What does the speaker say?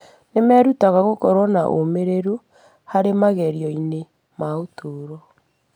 Nĩ merutaga gũkorwo na ũmĩrĩru harĩ magerio-inĩ ma ũtũũro.